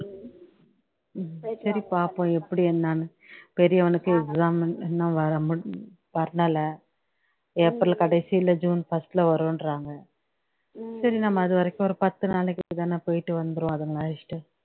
உம் சரி பாப்போம் எப்படி என்னன்னு பெரியவனுக்கு exam இன்னும் வரமு ஏப்ரல் கடைசியிலே ஜுன் first ல வருன்றாங்க சரி நம்ம அதுவரைக்கும் ஒரு பத்துனாளைக்கு தானே போயிட்டு வந்துருவோம் அதுங்கல அழைச்சுக்கிட்டு